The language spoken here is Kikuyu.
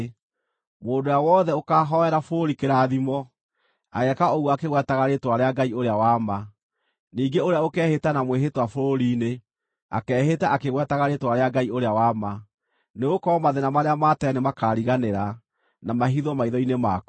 Mũndũ ũrĩa wothe ũkaahoera bũrũri kĩrathimo, ageeka ũguo akĩgwetaga rĩĩtwa rĩa Ngai ũrĩa wa ma; ningĩ ũrĩa ũkeehĩta na mwĩhĩtwa bũrũri-inĩ, akeehĩta akĩgwetaga rĩĩtwa rĩa Ngai ũrĩa wa ma. Nĩgũkorwo mathĩĩna marĩa ma tene nĩmakariganĩra, na mahithwo maitho-inĩ makwa.